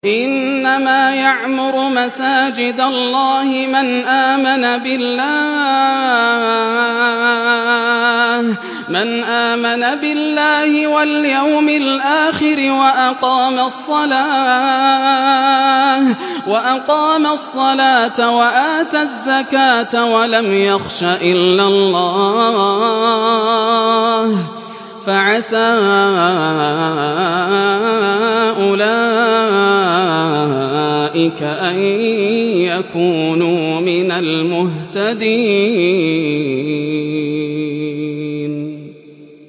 إِنَّمَا يَعْمُرُ مَسَاجِدَ اللَّهِ مَنْ آمَنَ بِاللَّهِ وَالْيَوْمِ الْآخِرِ وَأَقَامَ الصَّلَاةَ وَآتَى الزَّكَاةَ وَلَمْ يَخْشَ إِلَّا اللَّهَ ۖ فَعَسَىٰ أُولَٰئِكَ أَن يَكُونُوا مِنَ الْمُهْتَدِينَ